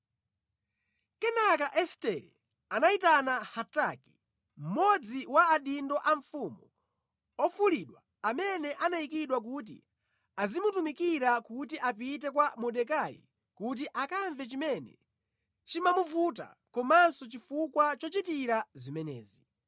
Kenaka Estere anayitana Hataki, mmodzi wa adindo a mfumu ofulidwa amene anayikidwa kuti azimutumikira kuti apite kwa Mordekai kuti akamve chimene chimamuvuta komanso chifukwa chochitira zimenezi.